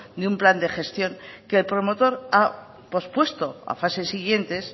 de un plan de gestión que el promotor ha pospuesto a fases siguientes